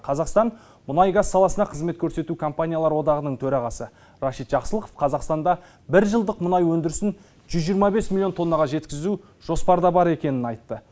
қазақстан мұнай газ саласына қызмет көрсету компаниялар одағының төрағасы рашид жақсылықов қазақстанда бір жылдық мұнай өндірісін жүз жиырма бес миллион тоннаға жеткізу жоспарда бар екенін айтты